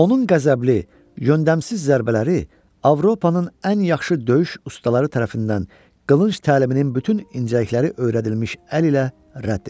Onun qəzəbli, yöndəmsiz zərbələri Avropanın ən yaxşı döyüş ustaları tərəfindən qılınc təliminin bütün incəlikləri öyrədilmiş əl ilə rədd edildi.